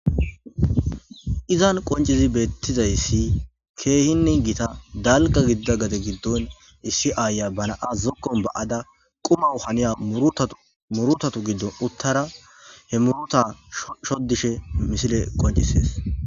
Izan qonccidii bettizayssi keehinne qonccidii bettizayssi keehinne giitta dalgga gadde giddon issi ayiya ba na'a zookon ba'adda qumaw haniya muurutattu gidduwan uuttadda he muuruta shodishshe misiley qonccises